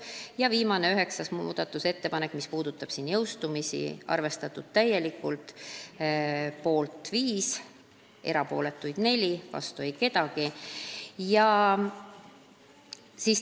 Ja viimast, 9. muudatusettepanekut, mis puudutab jõustumisi, arvestati ka täielikult: poolt 5, erapooletuid 4, vastu ei olnud keegi.